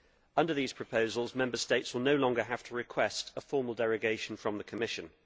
Under these proposals, Member States will no longer have to request a formal derogation from the Commission.